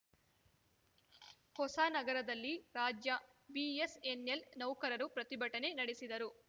ಹೊಸನಗರದಲ್ಲಿ ರಾಜ್ಯ ಬಿಎಸ್‌ಎನ್‌ಎಲ್‌ ನೌಕರರು ಪ್ರತಿಭಟನೆ ನಡೆಸಿದರು